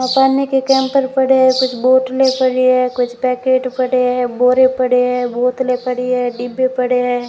पकाने के कैम्पर पडे है कुछ बोतलें पडी हैं कुछ पैकेट पड़े हैं बोरे पड़े हैं बोतले पड़ी हैं डिब्बे पड़े हैं।